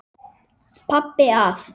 Pabbi að.